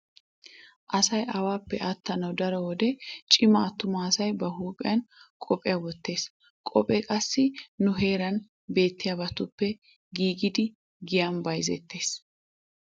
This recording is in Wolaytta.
Asay awaappe attanawu daro wode cima attuma asay ba huuphiyan qophiya wottees. Qophee qassi nu heeran beetiyabatuppe giigidi giyan bayzettees.